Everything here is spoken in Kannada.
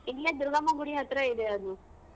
ಇಲ್ಲೇ ದುರ್ಗಮ್ಮ ಗುಡಿ ಹತ್ರ ಇದೆ ಅದು.